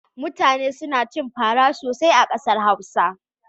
Mutane suna cin fara sosai a ƙasar Hausa.